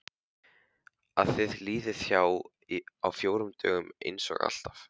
Að það líði hjá á fjórum dögum einsog alltaf.